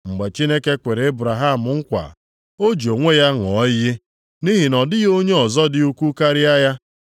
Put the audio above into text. Mgbe Chineke kwere Ebraham nkwa, o ji onwe ya ṅụọ iyi, nʼihi na ọ dịghị onye ọzọ dị ukwuu karịa ya,